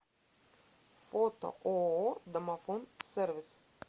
фото ооо домофон сервис